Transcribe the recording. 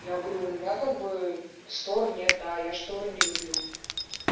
я говорю у меня как бы штор нет да я шторы не люблю